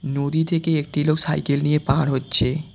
নদী থেকে একটি লোক সাইকেল নিয়ে পার হচ্ছে।